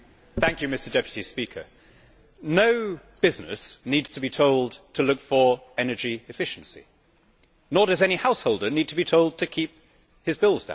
Mr President, no business needs to be told to look for energy efficiency, nor does any householder need to be told to keep his bills down.